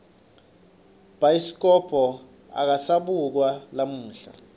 bhayiskobho akasabukwa lamuhla